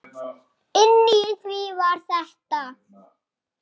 Inni í því var þetta.